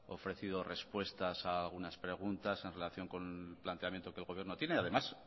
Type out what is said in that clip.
ofrecido respuestas a unas preguntas en relación con el planteamiento que el gobierno tiene además